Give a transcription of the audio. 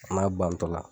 A n'a bantɔla